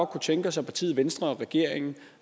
kunne tænke os at partiet venstre og regeringen